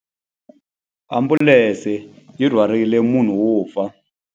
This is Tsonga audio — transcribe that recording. Ambulense yi rhwarile munhu wo fa.